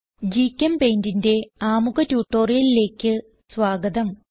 GChemPaintന്റെ ആമുഖ ട്യൂട്ടോറിയലിലേക്ക് സ്വാഗതം